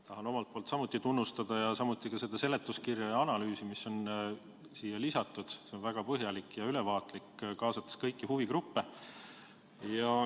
Tahan omalt poolt samuti tunnustada ning kiita ka seda seletuskirja ja analüüsi, mis on siia lisatud – see on väga põhjalik ja ülevaatlik, kaasates kõiki huvigruppe.